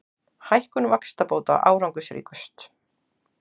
Hækkun vaxtabóta árangursríkust